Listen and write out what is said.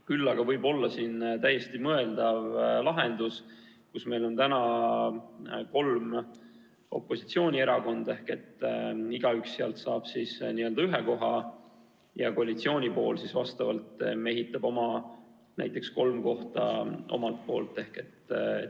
Küll aga võib olla täiesti mõeldav olla lahendus, et meil on täna kolm opositsioonierakonda ja igaüks saab seal ühe koha ja koalitsioon vastavalt mehitab kolm kohta.